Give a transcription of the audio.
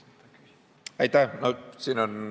Aitäh!